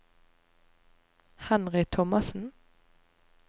Henry Thomassen